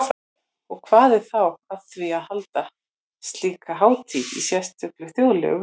Og hvað er þá að því að halda slíka hátíð í sérlega þjóðlegu veðri?